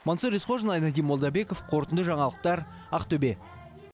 мансұр есқожин айнадин молдабеков қорытынды жаңалықтар ақтөбе